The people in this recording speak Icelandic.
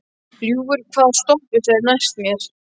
Ljúfur, hvaða stoppistöð er næst mér?